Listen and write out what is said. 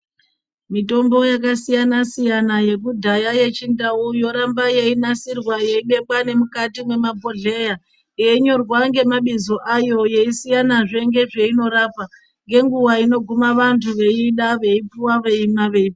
Mitombo yakasiyana- siyana yekudhaya yechindau yoramba yeinasirwa yeibekwa nemukati mwemabohleya yeinyorwa ngemabizo ayo yeisiyanazve ngezveinorapa ngenguwa inoguma vantu veiida veipuwa veimwa vei.